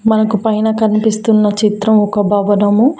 మనకు పైన కనిపిస్తున్న చిత్రం ఒక భావనము.